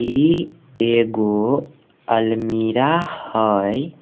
इ एगो अलमीरा हेय।